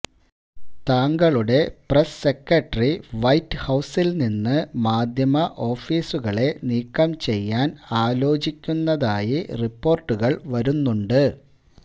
താങ്കളുടെ press secretary white ഹൌസിൽ നിന്ന് മാധ്യമ ഓഫീസുകളെ നീക്കംചെയ്യാൻ ആലോചിക്കുന്നതായി റിപ്പോർട്ടുകൾ വരുന്നുണ്ട്